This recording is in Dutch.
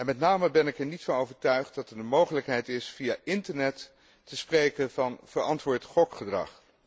Met name ben ik er niet van overtuigd dat het een mogelijkheid is via internet te spreken van verantwoord gokgedrag.